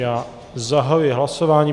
Já zahajuji hlasování.